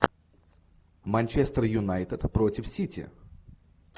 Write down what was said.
манчестер юнайтед против сити